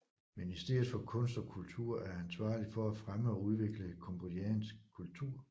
Ministeriet for kunst og kultur er ansvarlig for at fremme og udvikle cambodjansk kultur